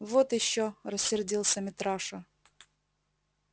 вот ещё рассердился митраша